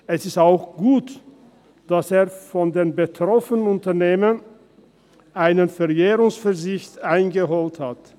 Es ist auch gut, dass er bei den betroffenen Unternehmen einen Verjährungsverzicht eingeholt hat.